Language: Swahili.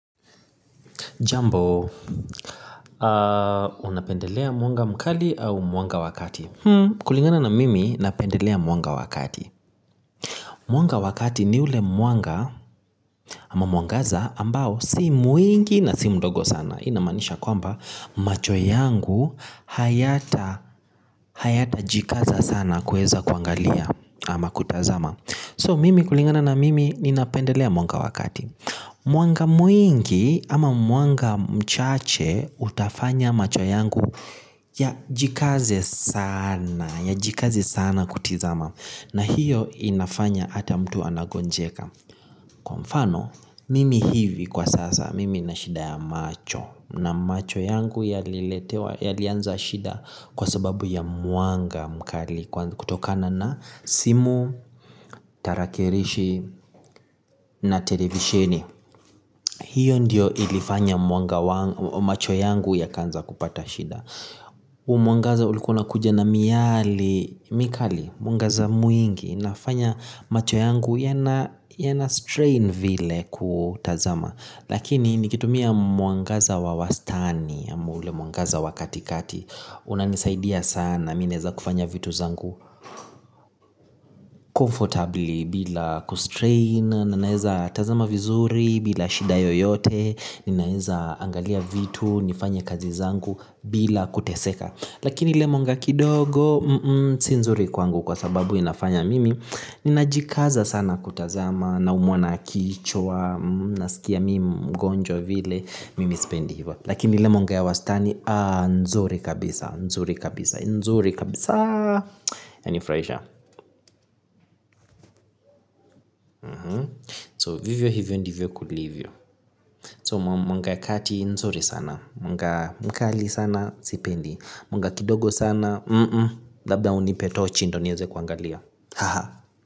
Jambo, unapendelea mwanga mkali au mwanga wa kati? Kulingana na mimi, napendelea mwanga wa kati. Mwanga wakati ni ule mwanga ama mwangaza ambao si mwingi na si mdogo sana. Inamaanisha kwamba, macho yangu hayatajikaza sana kuweza kuangalia ama kutazama. So, mimi kulingana na mimi, ninapendelea mwanga wakati. Mwanga mwingi ama mwanga mchache utafanya macho yangu yajikaze sana, yajikaze sana kutizama na hiyo inafanya hata mtu anagonjeka kwa mfano, mimi hivi kwa sasa, mimi nina shida ya macho na macho yangu yaliletewa yalianza shida kwa sababu ya mwanga mkali kutokana na simu, tarakilishi na televisheni hiyo ndiyo ilifanya mwanga wangu macho yangu yakaanza kupata shida mwangaza ulikuwa unakuja na miale, mikali, mwangaza mwingi inafanya macho yangu yanastrain vile kutazama lakini nikitumia mwangaza wa wastani ama ule mwangaza wa katikati unanisaidia sana mi naeza kufanya vitu zangu comfortably bila kustrain na naeza tamaza vizuri bila shida yoyote ninaeza angalia vitu, nifanye kazi zangu bila kuteseka lakini mwanga kidogo, si nzuri kwangu kwa sababu inafanya mimi ninajikaza sana kutazama naumwa na kichwa nasikia mimi mgonjwa vile, mimi sipendi hivyo, lakini ile mwanga ya wastani nzuri kabisa, nzuri kabisa, nzuri kabisaa, inanifurahisha. So vivyo hivyo ndivyo kulivyo. So mwanga ya kati nzuri sana, mwanga mkali sana sipendi, mwanga kidogo sana labda unipe tochi ndo nieze kuangalia haha.